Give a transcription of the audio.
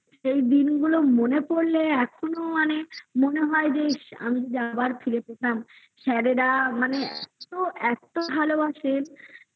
এই দিনগুলো মনে পড়লে এখনো মানে মনে হয় যে আমি যা আবার ফিরে পেতাম sir -এরা মানে তো এত ভালোবাসেন